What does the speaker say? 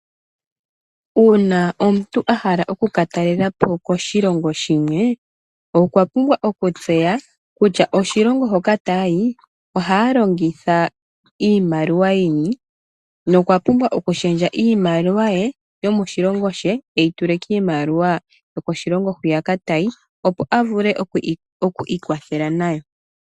Uuna omuntu ahala okuka talelapo koshilongo shimwe okwa pumbwa oku tseya kutya oshilongo hoka tayayi ohaya longitha iimaliwa yini, nokwa pumbwa okushendja iimaliwa ye yomoshilongo she eyi tule kiimaliwa yokoshilongo hwiya tayi opo avule oku ikwathela nayo.